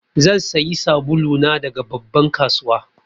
Zan sayi sabulu na daga babban kasuwa.